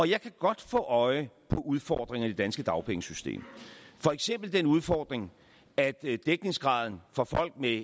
jeg kan godt få øje på udfordringer i det danske dagpengesystem for eksempel den udfordring at dækningsgraden for folk med